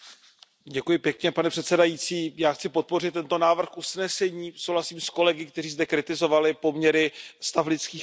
Pane předsedající, já chci podpořit tento návrh usnesení, souhlasím s kolegy, kteří zde kritizovali poměry stavu lidských práv v Egyptě.